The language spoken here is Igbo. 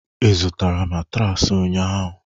ị zụtara matraasi ụnyaahụ?